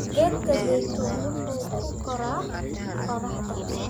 Geedka zaituni wuxuu ku koraa qoraxda.